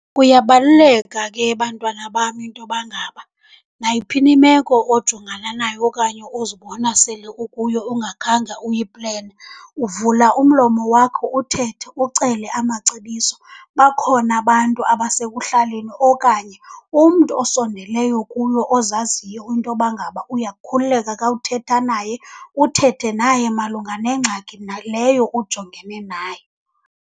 Kuyabaluleka ke bantwana bam intoba ngaba nayiphi na imeko ojongana nayo okanye ozibona sele ukuyo ungakhange uyiplene, uvula umlomo wakho uthethe, ucele amacebiso. Bakhona abantu abasekuhlaleni okanye umntu osondeleyo kuyo ozaziyo intoba ngaba uyakhululeka ka uthetha naye, uthethe naye malunga nengxaki leyo ujongene nayo.